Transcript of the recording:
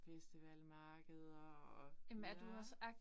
Festival, markeder og ja